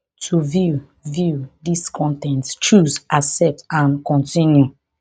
to view view dis con ten t choose accept and continue